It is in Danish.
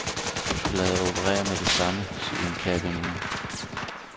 Du skal lade dig operere med det samme, siger en kær veninde.